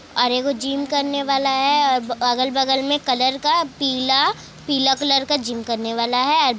और एगो जिम करने वाला है। अगल बगल में कलर का पीला पीला कलर का जिम करने वाला है।